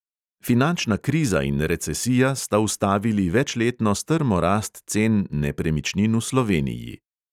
Finančna kriza in recesija sta ustavili večletno strmo rast cen nepremičnin v sloveniji.